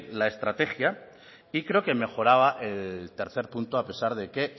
la estrategia y creo que mejoraba el tercer punto a pesar de que